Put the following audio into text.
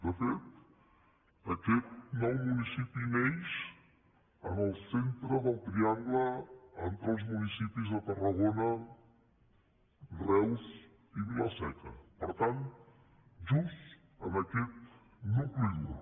de fet aquest nou municipi neix en el centre del triangle entre els municipis de tarragona reus i vila seca per tant just en aquest nucli dur